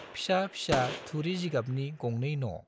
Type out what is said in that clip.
फिसा फिसा थुरि जिगाबनि गंनै न'।